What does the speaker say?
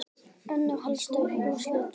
Önnur helstu úrslit voru